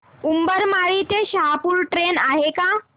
उंबरमाळी ते शहापूर ट्रेन आहे का